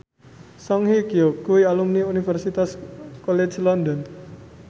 Song Hye Kyo kuwi alumni Universitas College London